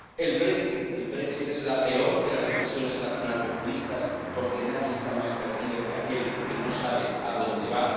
el —el es la peor de las decisiones nacionalpopulistas, porque nadie está más perdido que aquel que no sabe a dónde va—